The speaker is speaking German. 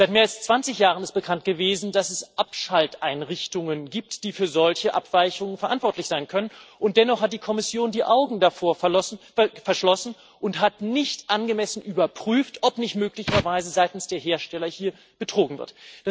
Seit mehr als 20 Jahren ist bekannt gewesen, dass es Abschalteinrichtungen gibt, die für solche Abweichungen verantwortlich sein können, und dennoch hat die Kommission die Augen davor verschlossen und hat nicht angemessen überprüft, ob nicht möglicherweise seitens der Hersteller hier betrogen wird.